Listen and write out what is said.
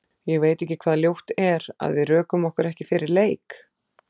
Ég veit ekki hvað ljótt er, að við rökum okkur ekki fyrir leik?